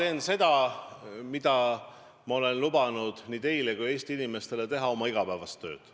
Ma teen seda, mida ma olen lubanud nii teile kui teistele Eesti inimestele: teen oma igapäevast tööd.